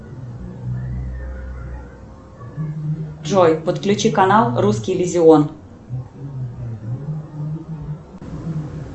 джой подключи канал русский иллюзион